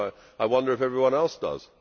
I wonder if everyone else does.